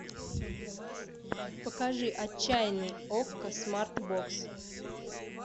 покажи отчаянный окко смартбокс